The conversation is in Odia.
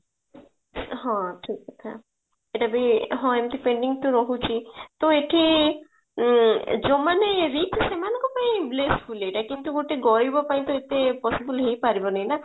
ହଁ ଠିକ କଥା ଏଇଟା ବି ହଁ ଏମିତି pending ତ ରହୁଛି ଟା ଏଠି ଯୋଉ ମାନେ rich ସେମାନଙ୍କ ପାଇଁ bless full ଏଇଟା କିନ୍ତୁ ଗୋଟେ ଗରିବ ପାଇଁ ତ ଏଇଟା possible ହେଇ ପାରିବନି ନା